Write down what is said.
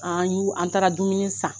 An y'u an taara dumuni san